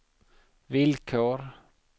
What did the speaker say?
villkor